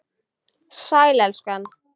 Sæl, elskan.